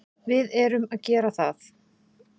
Við erum að gera það.